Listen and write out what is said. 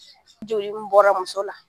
Joli min bɔra muso la